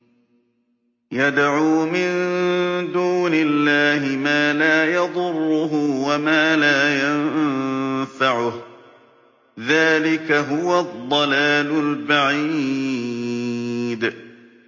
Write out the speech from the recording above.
يَدْعُو مِن دُونِ اللَّهِ مَا لَا يَضُرُّهُ وَمَا لَا يَنفَعُهُ ۚ ذَٰلِكَ هُوَ الضَّلَالُ الْبَعِيدُ